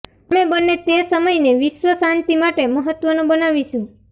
અમે બંને તે સમયને વિશ્વ શાંતિ માટે મહત્વનો બનાવીશું